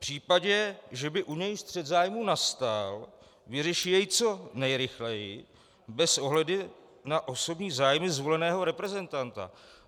v případě, že by u něj střet zájmů nastal, vyřeší jej co nejrychleji bez ohledu na osobní zájmy zvoleného reprezentanta.